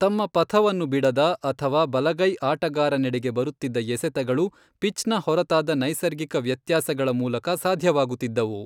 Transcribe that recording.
ತಮ್ಮ ಪಥವನ್ನು ಬಿಡದ ಅಥವಾ ಬಲಗೈ ಆಟಗಾರನೆಡೆಗೆ ಬರುತ್ತಿದ್ದ ಎಸೆತಗಳು ಪಿಚ್ನ ಹೊರತಾದ ನೈಸರ್ಗಿಕ ವ್ಯತ್ಯಾಸಗಳ ಮೂಲಕ ಸಾಧ್ಯವಾಗುತ್ತಿದ್ದವು.